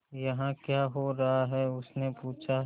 यहाँ क्या हो रहा है उसने पूछा